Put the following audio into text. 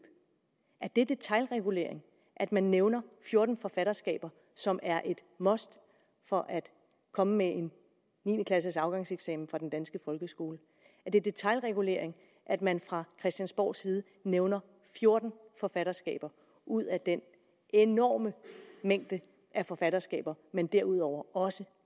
er det detailregulering at man nævner fjorten forfatterskaber som er et must for at komme med en niende klasses afgangseksamen fra den danske folkeskole er det detailregulering at man fra christiansborgs side nævner fjorten forfatterskaber ud af den enorme mængde af forfatterskaber man derudover også